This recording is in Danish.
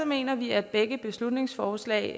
mener vi at begge beslutningsforslag